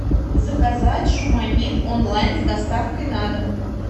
заказать шуманит онлайн с доставкой на дом